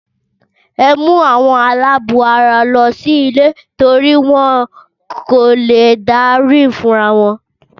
Ẹ mú àwọn aláàbọ̀ara lọ sí ilé torí wọ́n kò léè dá rìn fúnra wọn.